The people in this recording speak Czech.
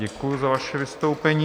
Děkuji za vaše vystoupení.